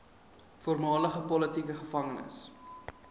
voormalige politieke gevangenes